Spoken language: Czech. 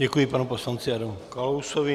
Děkuji panu poslanci Adamu Kalousovi.